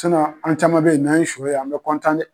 Cinɔn an caman be ye n'an ye sɔ ye an bɛ de.